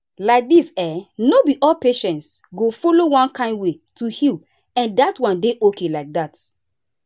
like this[um]no be all patients go follow one kind way to heal and dat one dey okay like that.